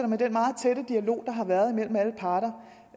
med den meget tætte dialog der har været mellem alle parter